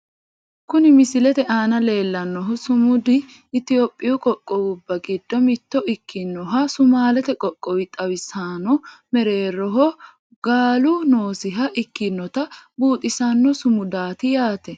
Kuni misilete aana leellannohu sumudi itiyophiyu qoqqowubba giddo mitto ikkinoha sumaalete qoqqowo xawisanno mereeroho gaalu noosiha ikkinota buuxisanno sumudaati yaate.